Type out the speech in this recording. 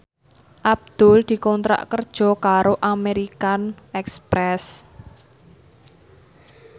Abdul dikontrak kerja karo American Express